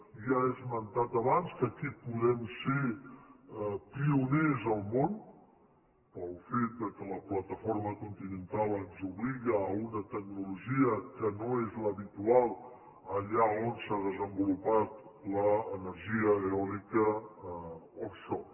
ja he esmentat abans que aquí podem ser pioners al món pel fet que la plataforma continental ens obliga a una tecnologia que no és l’habitual allà on s’ha desenvolupat l’energia eòlica offshore